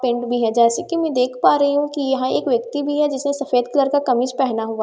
पिंड भी है जैसे कि मैं देख पा रही हूं कि यहां एक व्यक्ति भी है जिसे सफेद कलर का कमीज पहना हुआ है।